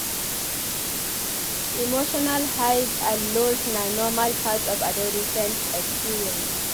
Emotional highs and lows na normal part of adolescent experience.